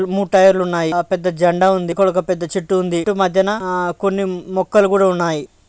మూడు టైర్లు ఉన్నాయి. పెద్ద జెండా ఉంది. ఇక్కడ ఒక పెద్ద చెట్టు ఉంది. చెట్టు మద్య ఆ కొన్ని మొక్కలు కూడా ఉన్నాయి.